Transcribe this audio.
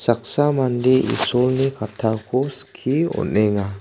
saksa mande isolni kattako skie on·enga.